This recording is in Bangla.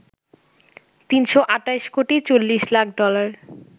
৩২৮ কোটি ৪০ লাখ ডলার